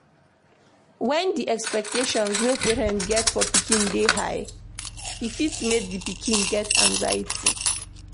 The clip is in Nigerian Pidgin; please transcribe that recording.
When di expectations wey parnets get for pikin dey high e fit make di pikin get anxiety